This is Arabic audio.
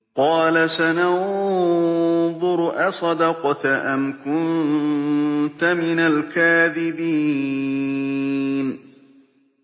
۞ قَالَ سَنَنظُرُ أَصَدَقْتَ أَمْ كُنتَ مِنَ الْكَاذِبِينَ